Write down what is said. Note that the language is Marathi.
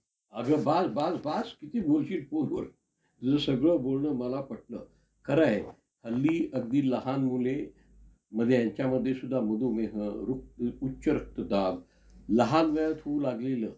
अगं बस बस किती बोलशील phone तुझं सगळं बोलणं मला पटलं. खरं आहे. हल्ली अगदी लहान मुले म्हणजे यांच्यामध्ये सुद्धा मधुमेह, उच्च रक्तदाब लहान वयात होऊ लागलेलं